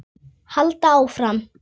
Halda áfram.